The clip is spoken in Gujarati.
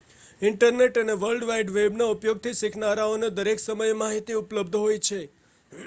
ઇન્ટરનેટ અને વર્લ્ડ વાઇડ વેબના ઉપયોગથી શીખનારાઓને દરેક સમયે માહિતી ઉપલબ્ધ હોય છે